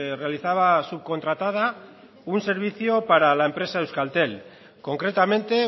realizaba subcontratada un servicio para la empresa euskaltel concretamente